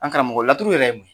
An karamɔgɔ laturu yɛrɛ ye mun ye?